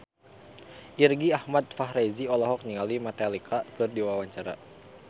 Irgi Ahmad Fahrezi olohok ningali Metallica keur diwawancara